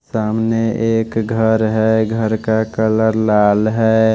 सामने एक घर है घर का कलर लाल है।